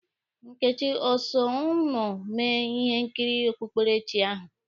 Nkechi o so ụnụ mee ihe nkiri okpukperechi ahụ?